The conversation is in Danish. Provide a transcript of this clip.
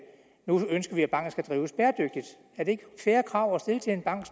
man ønsker at banken skal drives bæredygtigt er det ikke et fair krav at stille til en bank